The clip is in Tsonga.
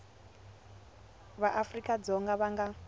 va afrika dzonga va nga